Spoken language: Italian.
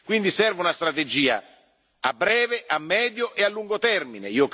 Quindi serve una strategia a breve, a medio e a lungo termine.